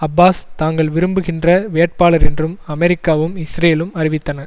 Abbas தாங்கள் விரும்புகின்ற வேட்பாளர் என்றும் அமெரிக்காவும் இஸ்ரேலும் அறிவித்தன